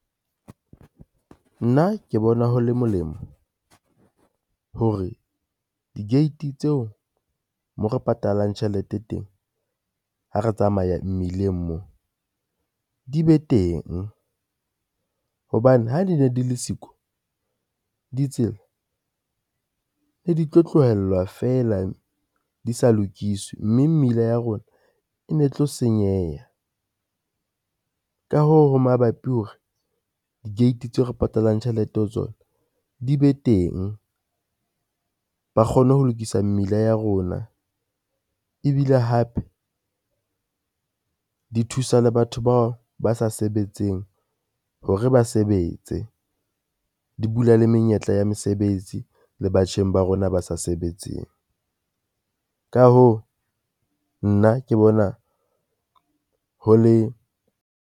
Nna ke bona ho le molemo hore di-gate tseo mo re patalang tjhelete teng ha re tsamaya mmileng mo di be teng, hobane ha di ne di le siko ditsela ne di tlo tlohellwa fela di sa lokiswe, mme mmila ya rona e ne tlo senyeha. Ka hoo, ho mabapi hore di-gate tseo re patalang tjhelete ho tsona di be teng, ba kgone ho lokisa mmila ya rona ebile hape di thusa le batho bao ba sa sebetseng hore ba sebetse, di bula le menyetla ya mesebetsi le batjheng ba rona ba sa sebetseng ka hoo, nna ke bona ho le.